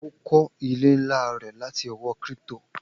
O kọ ile nla rẹ lati owo crypto